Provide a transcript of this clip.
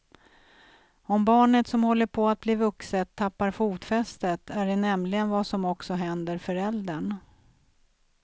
Om barnet som håller på att bli vuxet tappar fotfästet är det nämligen vad som också händer föräldern.